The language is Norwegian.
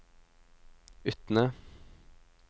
Utne